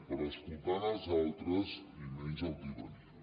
però escoltant els altres i menys altivesa